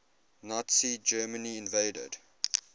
nazi germany invaded